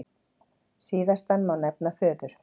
Síðastan má nefna föður